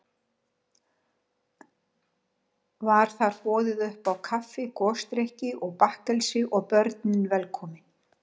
Var þar boðið uppá kaffi, gosdrykki og bakkelsi, og börnin velkomin.